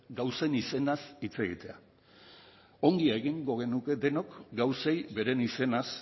gauzen izenaz hitz egitea ongi egingo genuke denok gauzei beren izenaz